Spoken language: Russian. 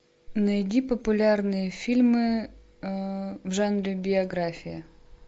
найди популярные фильмы в жанре биография